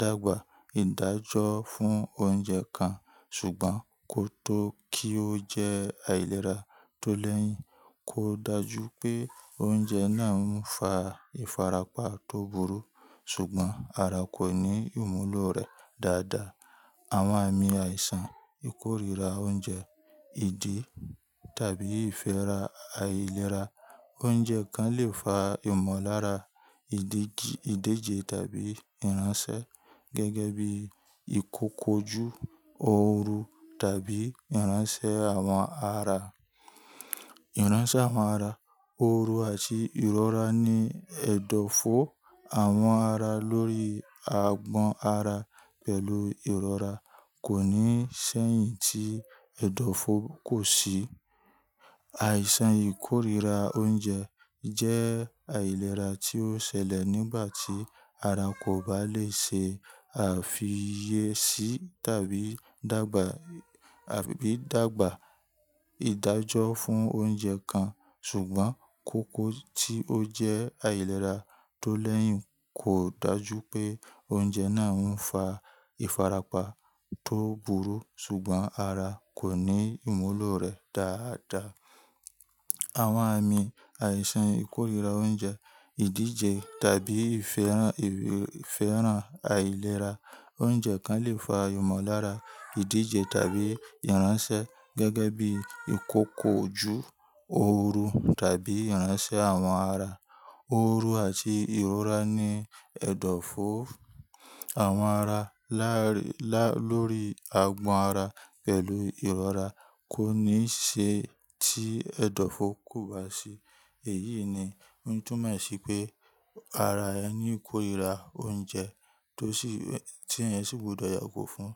dàgbà ìdájọ́ fún oúnjẹ kan ṣùgbọ́n kó tó kí ó jẹ́ àìlera tó lẹ́yìn, kò dàjú pé oúnjẹ náà ń fa ìfarapa tó burú ṣùgbọ́n ara kò ní ìmúlò rẹ̀ dáadáa. Àwọn àmì àìsàn ìkórìíra oúnjẹ, ìdí tàbí ìfẹ́rà àìlera. Oúnjẹ kan lè fa ìmọ̀lára ìdíje tàbí ìránṣẹ́ gẹ́gẹ́ bí ìkukuoju ooru tàbí ìránṣẹ́ àwọn ara. Ìránṣẹ́ àwọn ara, ooru àti ìrora ni ẹ̀dọ̀fó àwọn ara lórí àgbọ̀n ara pẹ̀lú ìrora kò ní ṣeyìn tí ẹ̀dọ̀fó kò sí. Àìsàn ìkórìíra oúnjẹ jẹ́ àìlera tí ó ṣẹlẹ̀ nígbà tí ara kò bá lè ṣe àfiyèsí tàbí dàgbà ìdájọ́ fún oúnjẹ kan ṣùgbọ́n kó kó tí ó jẹ́ àìlera tó lẹ́yìn kò dáju pé oúnjẹ náà ń fa ìfarapa tó burú ṣùgbọ́n ara kò ní ìmúlò rẹ̀ dáadáa. Àwọn àmì àìsàn ìkórìíra oúnjẹ, ìdíje tàbí ìfẹ́ràn àìlera. Oúnjẹ kan lè fa ìmọ̀lára ìdíje tàbí ìránṣẹ́ gẹ́gẹ́ bí ìkòkò ju oorun tàbí ìránṣẹ́ àwọn ara. Oorun àti ìrora ni ẹ̀dọ̀fó àwọn ara lórí àgbọ̀n ara pẹ̀lú ìrora kò ní ṣe tí ẹ̀dọ̀fó kò bá sí. Eyi ni o n tumo si pe ara e ni ikorira ounje to si e teyan si gbudo yago fun.